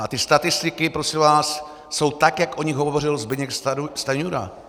A ty statistiky, prosím vás, jsou tak, jak o nich hovořil Zbyněk Stanjura.